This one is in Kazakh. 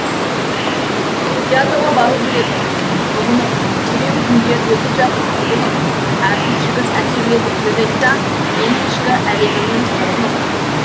театрға бару керек ұғынып күрең күндер өтіп жатыр құбылып әртіс жігіт әсерлетіп сөз айтса менің ішкі әлемімнің сырын ұқ